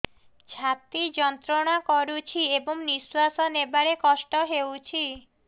ଛାତି ଯନ୍ତ୍ରଣା କରୁଛି ଏବଂ ନିଶ୍ୱାସ ନେବାରେ କଷ୍ଟ ହେଉଛି